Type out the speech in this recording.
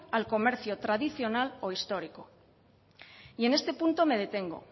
al comercio tradicional o histórico y en este punto me detengo